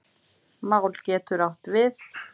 Mál getur átt við